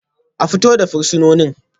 A fito da fursunonin